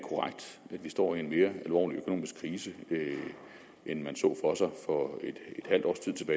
vi står i en mere alvorlig økonomisk krise end man så for sig for et halvt års tid